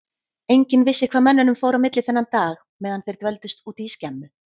Enginn vissi hvað mönnunum fór á milli þennan dag meðan þeir dvöldust úti í skemmu.